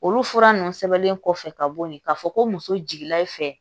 Olu fura ninnu sɛbɛnnen kɔfɛ ka bo yen k'a fɔ ko muso jiginna i fɛ